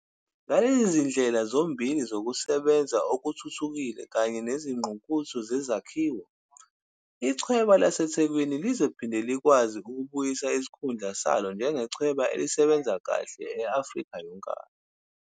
Ngalezi zindlela zombili zokusebenza okuthuthukile kanye nezinguquko zezakhiwo, Ichweba laseThekwini lizophinde likwazi ukubuyisa isikhundla salo njengechweba elisebenza kahle kakhulu e-Afrika yonkana.